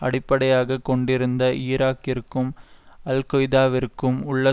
அடிப்படையாக கொண்டிருந்த ஈராக்கிற்கும் அல்கொய்தாவிற்கும் உள்ள